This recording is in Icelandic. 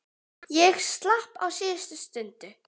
Ég slapp á síðustu stundu.